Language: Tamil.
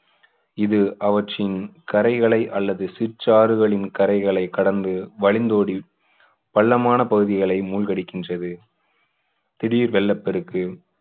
இது அவற்றின் கரைகளை அல்லது சிற்றாறுகளின் கரைகளை கடந்து வழிந்தோடி பள்ளமான பகுதிகளை மூழ்கடிக்கின்றது திடீர் வெள்ளப்பெருக்கு